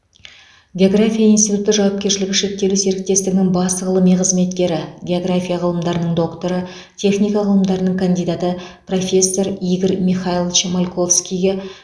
география институты жауапкершілігі шектеулі серіктестігінің бас ғылыми қызметкері география ғылымдарының докторы техника ғылымдарының кандидаты профессор игорь михайлович мальковскийге